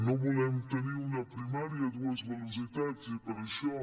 no volem tenir una primària a dues velocitats i per això